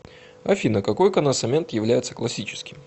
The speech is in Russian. афина какой коносамент является классическим